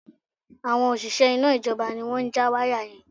Àwọn òṣìṣẹ́ iná ìjọba ni wọ́n ja wáyà yẹn